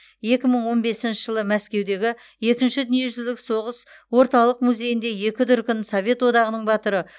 екі мың он бесінші жылы мәскеудегі екінші дүниежүзілік соғыс орталық музейінде екі дүркін совет одағының батыры